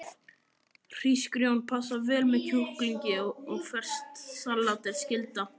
Hrísgrjón passa vel með kjúklingi og ferskt salat er skylda.